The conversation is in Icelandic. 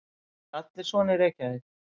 Eru allir svona í Reykjavík?